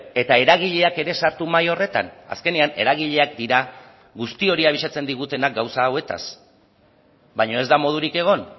eta eragileak ere sartu mahai horretan azkenean eragileak dira guzti hori abisatzen digutenak gauza hauetaz baina ez da modurik egon